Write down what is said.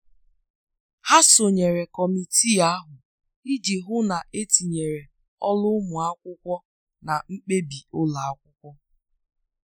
Ha sonyere kọmitii ahụ iji hụ na etinyere olu ụmụ akwụkwọ na mkpebi ụlọ akwụkwọ.